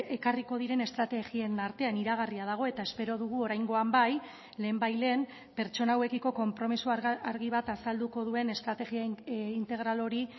ekarriko diren estrategien artean iragarria dago eta espero dugu oraingoan bai lehenbailehen pertsona hauekiko konpromiso argi bat azalduko duen estrategia integral hori